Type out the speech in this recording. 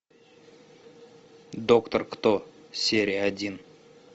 доктор кто серия один